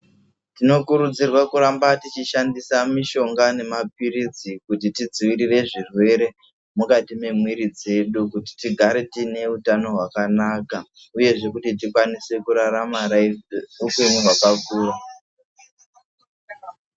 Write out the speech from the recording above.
Tinokurudzirwa kuramba techishandisa mushonga nemaphirizi kuti tidzivirire zvirwere mukati memwiri dzedu kuti tigare tine hutano hwakanaka uyezve kuti tikwanise kurarama hupenyu hwakakura.